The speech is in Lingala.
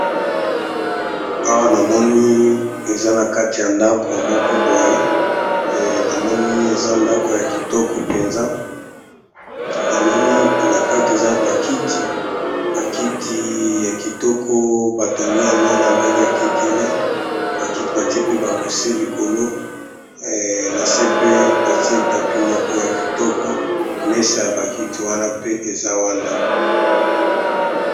Awa namoni balakisi biso eza esika mokoboye eza ndako eza ndako yakitoko namoni pe nakati bakiti ya kitoko bakiti oyo ba tongi yango nandenge ya kekele